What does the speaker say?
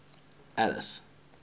alice